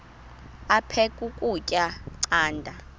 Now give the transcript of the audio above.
aphek ukutya canda